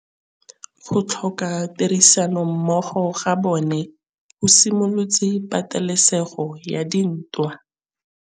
Go tlhoka tirsanommogo ga bone go simolotse patêlêsêgô ya ntwa.